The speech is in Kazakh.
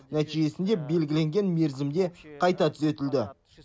нәтижесінде белгіленген мерзімде қайта түзетілді